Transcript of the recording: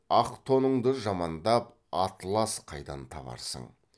ақ тоныңды жамандап атылас қайдан табарсың